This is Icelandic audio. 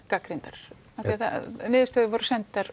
gagnrýndar niðurstöður voru sendar